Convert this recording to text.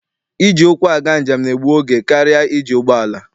Iji ụkwụ aga njem na-egbu oge karịa iji ụgbọala.